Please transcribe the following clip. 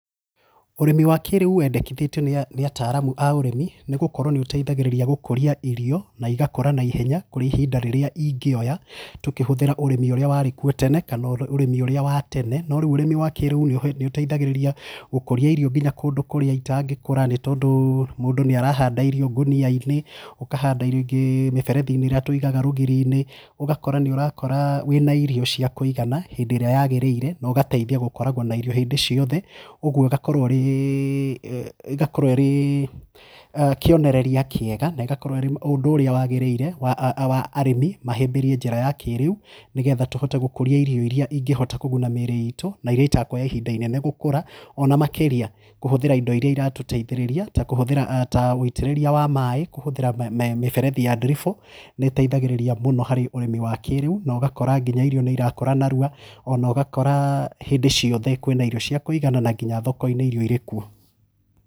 Ũrĩmi wa kĩrĩũ wendekethĩtwe nĩ ataraamu a ũrĩmi nĩ gũkorwo nĩũteithagĩrĩria gũkũria irio na igakũra na ihenya kũrĩ ihinda rĩrĩa ingeoya tũkĩhuthĩra ũrĩmi ũrĩa warĩkuo tene kana ũrĩmi wa tene, no rĩu urĩmi wa kĩrĩu nĩũteithagĩrĩria gũkũria irio nginya kũndũ kũrĩa itangĩkũra nĩ tondũ mũndũ nĩarahanda irio ngonia-inĩ, ũkahanda irio ingĩ mĩberethi-inĩ ĩrĩa tũigaga rũgiri-inĩ ũgakora nĩũrakora wĩ na irio cia kũigana hĩndĩ ĩrĩa yagĩrĩire na ũgateithia gũkoragwo na irio hĩndĩ ciothe ũguo ĩgakorwo ĩrĩ ĩgakorwo ĩrĩ kĩoneneria kĩega na ĩgakorwo ĩrĩ ũndũ ũrĩa wagĩrĩire wa wa arĩmi mahĩmbĩrie njĩra ya kĩrĩu nĩgetha tũhote gũkũria irio iria ingĩhota kũguna mĩrĩ itũ na iria itakũheo ihinda inene gũkũra ona makĩria kũhuthĩra indo iria iratũteithĩrĩria ta kũhuthĩra ta wĩtĩriria wa maĩ kũhũthĩra mĩberethi ya ndiribũ nĩ ĩteithagĩrĩria mũno harĩ ũrĩmi wa kĩrĩu na ũgakora nginya irio nĩirakũra na ihenya ona ũgakora hĩndĩ ciothe kwĩna irio cia kũigana na nginya thoko-ini irĩ kũo.